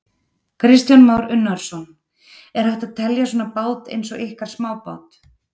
Kristján Már Unnarsson: Er hægt að telja svona bát eins og ykkar smábát?